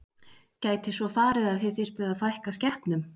Gæti farið svo að þið þyrftuð að fækka skepnum?